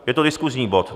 Je to diskusní bod.